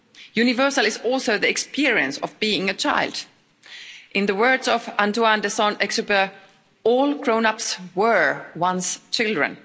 Universal is also the experience of being a child. In the words of Antoine De Saint-Exupéry, all grown-ups were once children.